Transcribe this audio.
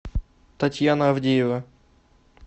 татьяна авдеева